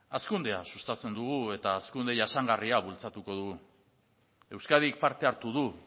hazkundea sustatzen dugu eta hazkunde jasangarria bultzatuko dugu euskadik parte hartu du